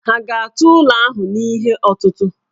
Ha ga-atụ ụlọ ahụ n'ihe ọtụtụ̀?